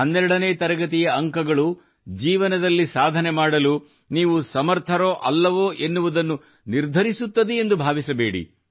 12 ನೇ ತರಗತಿಯ ಅಂಕಗಳು ಜೀವನದಲ್ಲಿ ಸಾಧನೆ ಮಾಡಲು ನೀವು ಸಮರ್ಥರೋ ಅಲ್ಲವೋ ಎನ್ನುವುದನ್ನು ನಿರ್ಧರಿಸುತ್ತದೆ ಎಂದು ಭಾವಿಸಬೇಡಿ